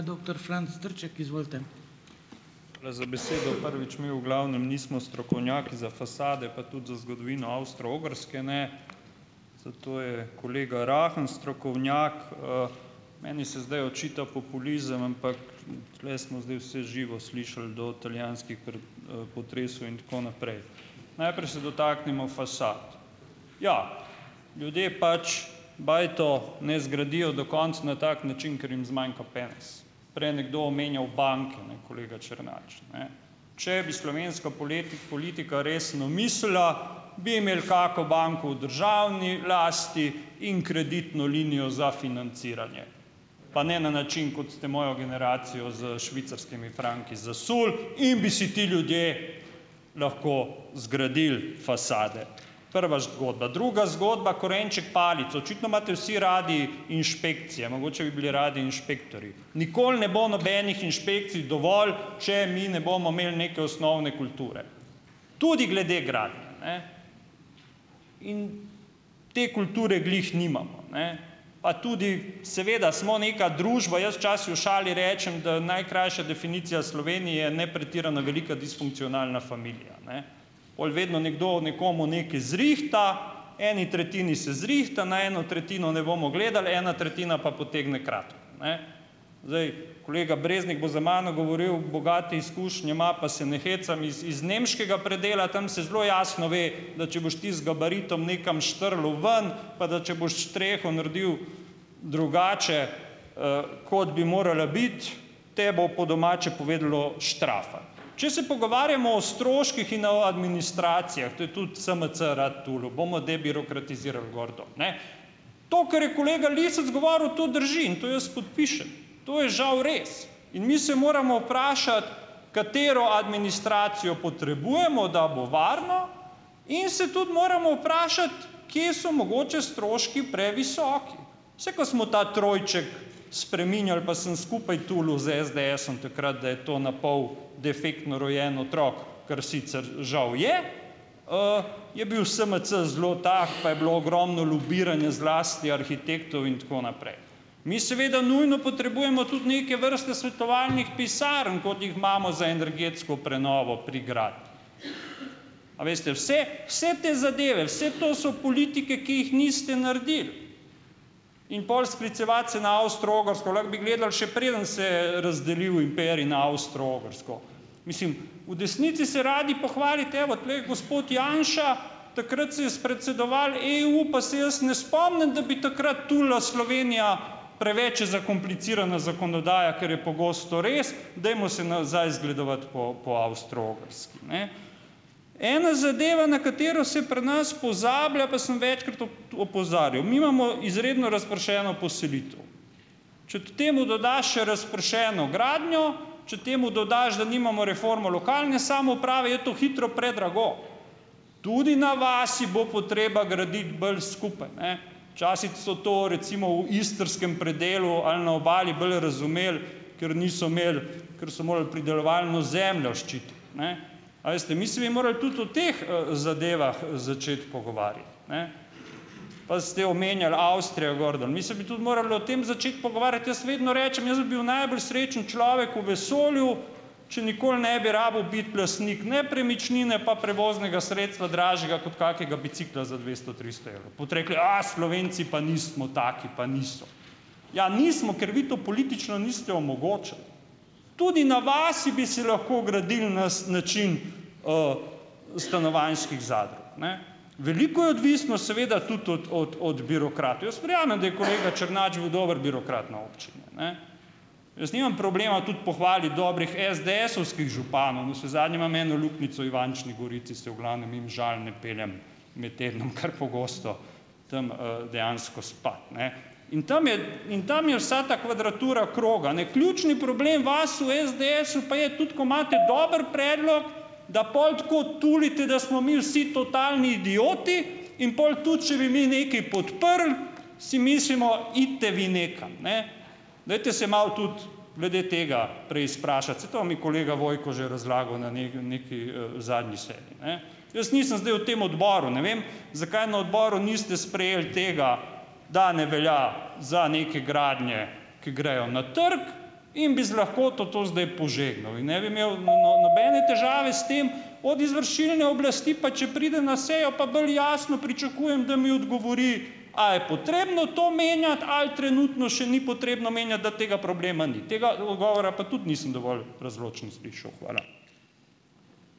Hvala za besedo. Prvič, mi v glavnem nismo strokovnjaki za fasade, pa tudi za zgodovino Avstro-Ogrske ne, zato je kolega Rahen strokovnjak. meni se zdaj očita populizem, ampak tule smo zdaj vse živo slišali, do italijanskih potresov in tako naprej. Najprej se dotaknimo fasad. Ja, ljudje pač bajto, ne, zgradijo do konec na tak način, ker jim zmanjka penez. Prej je nekdo omenjal banke, ne, kolega Črnač, ne. Če bi slovenska politika resno mislila, bi imel kako banko v državni lasti in kreditno linijo za financiranje, pa ne na način, kot ste mojo generacijo s švicarskimi franki zasuli, in bi si ti ljudje lahko zgradili fasade. Prva zgodba. Druga zgodba, korenček palico. Očitno imate vsi radi inšpekcije, mogoče bi bili radi inšpektorji. Nikoli ne bo nobenih inšpekcij dovolj, če mi ne bomo imeli neke osnovne kulture. Tudi glede gradnje, ne. In te kulture glih nimamo, ne. Pa tudi, seveda smo neka družba. Jaz včasih v šali rečem, da najkrajša definicija Slovenije je nepretirana velika disfunkcionalna familija, ne. Pol vedno nekdo nekomu nekaj zrihta, eni tretjini se zrihta, na eno tretjino ne bomo gledal, ena tretjina pa potegne kratko, ne. Zdaj Kolega Breznik bo za mano govoril, bogate izkušnje ima, pa se ne hecam, iz iz nemškega predela. Tam se zelo jasno ve, da če boš ti z gabaritom nekam štrlel ven, pa da če boš streho naredil drugače, kot bi morala biti te bo, po domače povedalo, štrafalo. Če se pogovarjamo o stroških in o administracijah, to je tudi SMC rad tulil, bomo debirokratizirali, gor, dol, ne. To, kar je kolega Lisec govoril, to drži in to jaz podpišem. To je žal res. In mi se moramo vprašati, katero administracijo potrebujemo, da bo varno, in se tudi moramo vprašati, kje so mogoče stroški previsoki. Saj ko smo ta trojček spreminjali, pa sem skupaj tulil s SDS-om takrat, da je to napol defektno rojen otrok, kar sicer žal je, je bil SMC zelo tak, pa je bilo ogromno lobiranja, zlasti arhitektov in tako naprej. Mi seveda nujno potrebujemo tudi neke vrste svetovalnih pisarn, kot jih imamo za energetsko prenovo pri gradnji. A veste, vse vse te zadeve, vse to so politike, ki jih niste naredili. In pol sklicevati se na Avstro-Ogrsko, lahko bi gledali, še preden se je razdelil imperij na Avstro-Ogrsko. Mislim, v desnici se radi pohvalite, evo, tule je gospod Janša, takrat se je spredsedoval EU, pa se jaz ne spomnim, da bi takrat tulila Slovenija, preveč je zakomplicirana zakonodaja, kar je pogosto res, dajmo se nazaj zgledovati po po Avstro-Ogrski, ne. Ena zadeva, na katero se pri nas pozablja, pa sem večkrat opozarjal, mi imamo izredno razpršeno poselitev. Če k temu dodaš še razpršeno gradnjo, če temu dodaš, da nimamo reformo lokalne samouprave, je to hitro predrago. Tudi na vasi bo potreba graditi bolj skupaj, ne. Včasih so to, recimo, v istrskem predelu ali na Obali bolj razumeli, ker niso imeli, ker so morali pridelovalno zemljo ščititi, ne. A veste, mi si bi morali tudi o teh, zadevah začeti pogovarjati, ne. Pa ste omenjal Avstrijo gor, dol, mi se bi tudi morali o tem začeti pogovarjati. Jaz vedno rečem, jaz bi bil najbolj srečen človek v vesolju, če nikoli ne bi rabil biti lastnik nepremičnine, pa prevoznega sredstva dražjega kot kakega bicikla za dvesto, tristo evrov. Boste rekli, Slovenci pa nismo taki, pa niso. Ja, nismo, ker vi to politično niste omogočili. Tudi na vasi bi si lahko gradili nas način, stanovanjskih zadrug, ne. Veliko je odvisno, seveda, tudi od od od birokratov. Jaz verjamem, da je kolega Črnač bil dober birokrat na občini, a ne. Jaz nimam problema tudi pohvaliti dobrih SDS-ovskih županov. Navsezadnje imam eno luknjico Ivančni Gorici, se v glavnem mimo Žal ne peljem med tednom kar pogosto tam, dejansko spat, ne. In tam je, in tam je vsa ta kvadratura kroga, ne. Ključni problem vas v SDS-u pa je tudi, ko imate dober predlog, da pol tako tulite, da smo mi vsi totalni idioti in pol, tudi če bi mi nekaj podprli, si mislimo: "Idite vi nekam, ne." Dajte se malo tudi glede tega prej izprašati. Saj to vam je kolega Vojko že razlagal na neki, zadnji seji, ne. Jaz nisem zdaj v tem odboru, ne vem, zakaj na odboru niste sprejeli tega, da ne velja za neke gradnje, ki grejo na trg, in bi z lahkoto to zdaj požegnal in ne bi imel nobene težave s tem od izvršilne oblasti, pa če pride na sejo, pa bolj jasno pričakujem, da mi odgovori a je potrebno to menjati ali trenutno še ni potrebno menjati, da tega problema ni. Tega odgovora pa tudi nisem dovolj razločno slišal. Hvala.